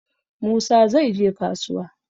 Musa zai je kasuwa.